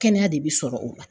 Kɛnɛya de be sɔrɔ o la